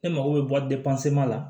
E mago bɛ bɔ la